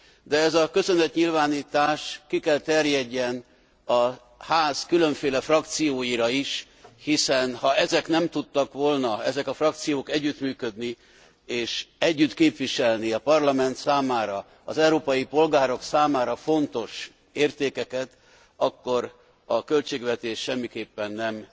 De ez a köszönetnyilvánítás ki kell terjedjen a Ház különféle frakcióira is, hiszen ha ezek a frakciók nem tudtak volna együttműködni, és együtt képviselni a Parlament számára, az európai polgárok számára fontos értékeket, akkor a költségvetés semmiképpen nem